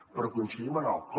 però coincidim en el com